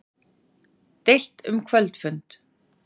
Deilt um kvöldfund